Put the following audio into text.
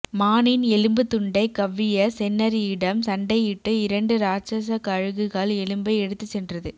மானின் எலும்பு துண்டை கவ்விய செந்நரியிடம் சண்டையிட்டு இரண்டு ராட்சத கழுகுகள் எலும்பை எடுத்து சென்றது